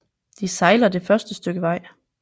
De sejler det første stykke vej